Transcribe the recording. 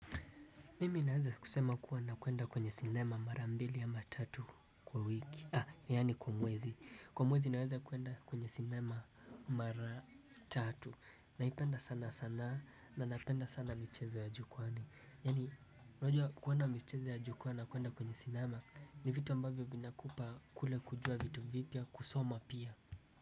Mimi naweza kusema kuwa nakwenda kwenye sinema mara mbili ama tatu kwa wiki, yani kwa mwezi kwa mwezi naweza kuenda kwenye sinema mara tatu naipenda sana sana na napenda sana michezo ya jukwaani yani unajua kuenda michezo ya jukwaa na kuenda kwenye sinema ni vitu ambavyo vinakupa kule kujua vitu vipya kusoma pia.